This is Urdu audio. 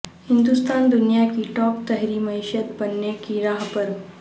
ہندوستان دنیا کی ٹاپ تھری معیشت بننے کی راہ پر